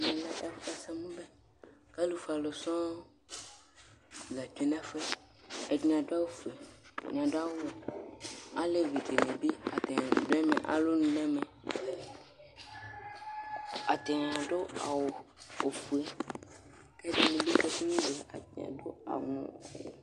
Ɛmɛ lɛ ɛsɛmubɛ Ku alufue ãlu sɔŋ la tsue nu ɛfuyɛ Ɛdini aɖu awu fue, ɛɖini aɖu awu wɛ Aleʋi ɖini bi, atani ɖu ɛmɛ, alonu nu ɛmɛ Atani aɖu awu ofue Ku ɛɖinibi bi kase ŋŋŋ, atani aɖu awu